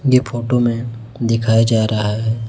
ये फोटो में दिखाया जा रहा है।